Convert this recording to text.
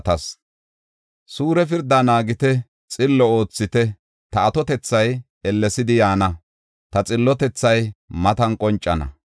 “Suure pirdaa naagite; xillo oothite; ta atotethay ellesidi yaana; ta xillotethay matan qoncana.